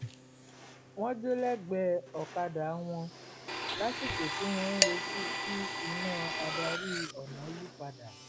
wọn jó lẹ́gbẹ̀ẹ́ okada wọn lásìkò tí wọ́n ń retí kí iná adarí-ọ̀nà yí padà